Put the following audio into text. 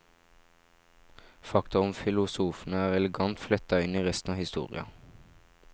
Fakta om filosofene er elegant fletta inn i resten av historia.